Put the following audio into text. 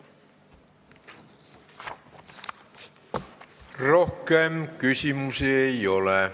Rohkem küsimusi ei ole.